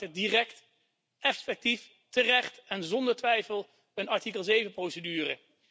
Hij startte direct, effectief, terecht en zonder twijfel een artikel 7 procedure.